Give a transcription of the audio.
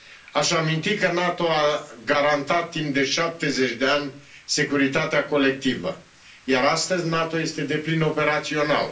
Aș aminti că NATO a garantat timp de 70 de ani securitatea colectivă, iar astăzi NATO este deplin operațional.